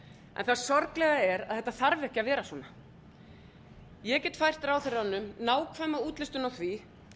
en það sorglega er að þetta þarf ekki að vera svona ég get fært ráðherranum nákvæma útlistun á því